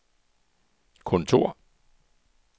kontor